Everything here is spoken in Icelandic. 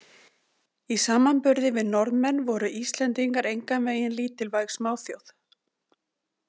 Í samanburði við Norðmenn voru Íslendingar engan veginn lítilvæg smáþjóð.